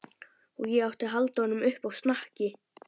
Og ég átti að halda honum uppi á snakki!